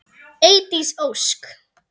Eydís Ósk.